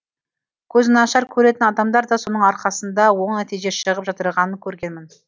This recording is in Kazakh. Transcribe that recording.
көзінашар көретін адамдар да соның арқасында оң нәтиже шығып жатырғанын көргенмін